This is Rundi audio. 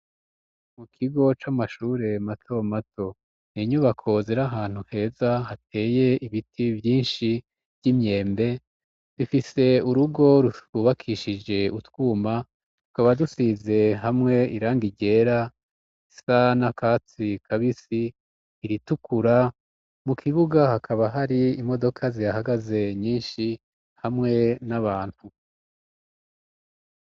Mu kigo c'amashure matamato n'inyubako zirahantu heza hateye ibiti vyinshi vy'imyembe rifise urugo rutubakishije utwuma tukaba dusize hamwe irangi ryera risa n'akatsi kabisi, iritukura mu kibuga hakaba hari imodoka zihahagaze nyinshi hamwe n'abantu.